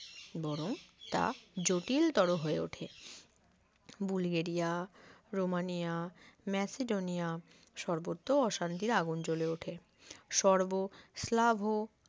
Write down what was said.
বরং তা জটিল তর হয়ে ওঠে বুলগেরিয়া রোমানিয়া ম্যাসিডোনিয়া সর্বোচ্চ অশান্তির আগুন জ্বলে ওঠে সর্ব স্লাভো